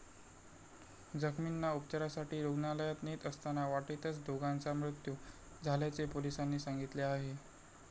जखमींना उपचारासाठी रूग्णालयात नेत असताना वाटेतच दोघांचा मृत्यू झाल्याचे पोलिसांनी सांगितले आहे.